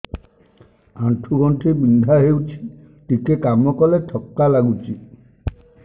ଆଣ୍ଠୁ ଗଣ୍ଠି ବିନ୍ଧା ହେଉଛି ଟିକେ କାମ କଲେ ଥକ୍କା ଲାଗୁଚି